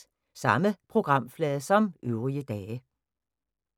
Samme programflade som øvrige dage